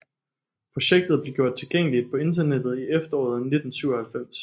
Projektet blev gjort tilgængeligt på internettet i efteråret 1997